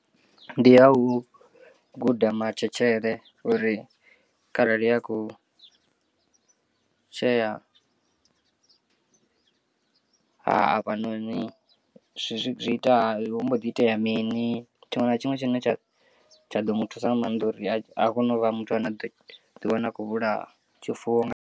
Ndi ha u guda matshetshele uri kharali a khou tshea hafhanoni zwi ita hu mbo ḓi itea mini tshiṅwe na tshiṅwe tshine tsha tsha ḓo muthusa nga maanḓa uri a kone u vha muthu ane a ḓo ḓiwana akho vhulaya tshifuwo nga.